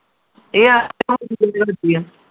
ਇਹ